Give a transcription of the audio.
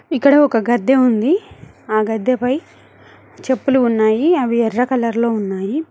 ఇక్కడ ఒక గద్దె ఉంది ఆ గద్దెపై చెప్పులు ఉన్నాయి అవి ఎర్ర కలర్ లో ఉన్నాయి